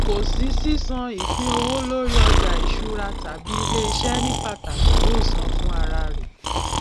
kò sí sísan ìpínowó lórí ọjà ìṣúra tàbí iléiṣẹ ní pàtàkì yóò san fún ara rẹ